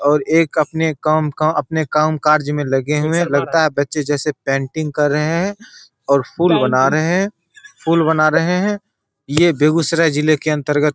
और एक अपने काम का अपने कामकाज में लगे हुए हैं लगता है बच्चे जैसे पेंटिंग कर रहे हैं और फूल बना रहे हैं फूल बना रहे हैं। ये बेगूसराय जिले के अंतर्गत --